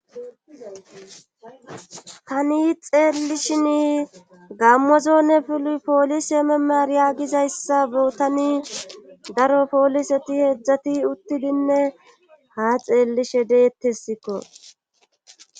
tani xeellishin gammozone poolise memar yaagizayssa botani daro pooliseti heedzdzati uttidinne ha xeellishe deettesikko